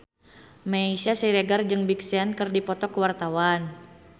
Meisya Siregar jeung Big Sean keur dipoto ku wartawan